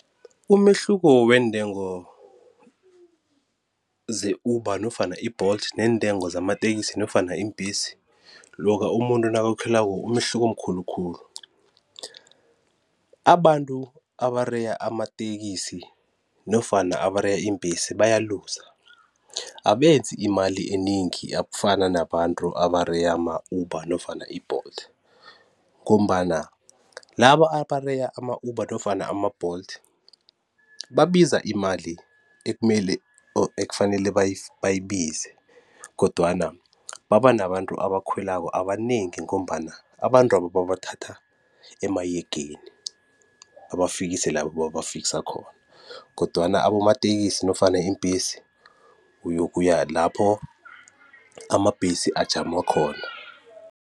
Umehluko weentengo ze-Uber nofana i-Bolt neentengo zamatekisi nofana iimbesi loka umuntu nakakhwelako umehluko mkhulu khulu. Abantu abareya amatekisi nofana abareya iimbhesi baya-loser, abenzi mali enengi akufana nabantu abareya ama-Uber nofana i-Bolt ngombana laba abareya ama-Uber nofana ama-Bolt babiza imali ekumele or ekufanele bayibize kodwana baba nabantu abakhwelako abanengi ngombana abantu laba babathatha emahegeni babafikise labo babafikisa khona kodwana abomatekisi nofana iimbhesi uyokuya lapho amabhesi ajama khona.